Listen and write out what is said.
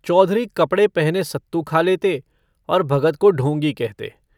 चौधरी कपड़े पहने सत्तू खा लेते और भगत को ढोंगी कहते।